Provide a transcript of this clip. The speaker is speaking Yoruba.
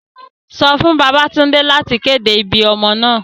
Sọ fun Babatunde lati kede ibi ọmọ naa!